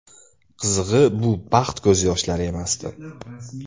Qizig‘i, bu baxt ko‘z yoshlari emasdi.